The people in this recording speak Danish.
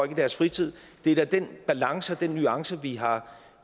i deres fritid det er da den balance og den nuance vi har